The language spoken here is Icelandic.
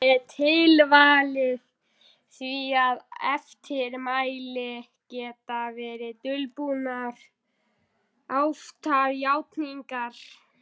Getum við þá kysst upp á þessa sáttargjörð?